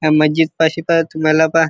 ह्या मजीदपाशी पा तुम्हाला पा--